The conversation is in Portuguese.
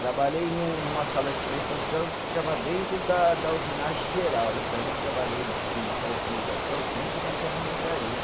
Trabalhei num numa sala de instrumentação que ficava dentro da da usinagem geral e também trabalhei numa sala de instrumentação dentro da ferramentaria.